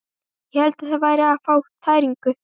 Ég hélt ég væri að fá tæringu.